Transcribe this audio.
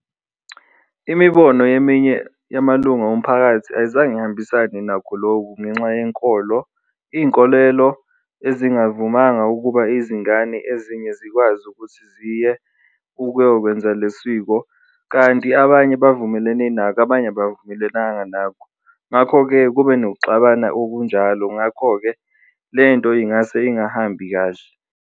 Imibono yeminye yamalunga omphakathi ayizange ihambisane nakho loku ngenxa yenkolo, iy'nkolelo ezingavumanga ukuba izingane ezinye zikwazi ukuthi ziye ukuyokwenza le siko, kanti abanye bavumelene nakho, abanye bavumelelanga nakho, ngakho-ke kube nokuxabana okunjalo. Ngakho-ke lento ingase ingahambi kahle.